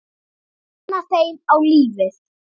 Kenna þeim á lífið.